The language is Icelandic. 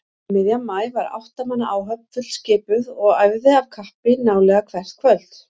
Um miðjan maí var átta manna áhöfn fullskipuð og æfði af kappi nálega hvert kvöld.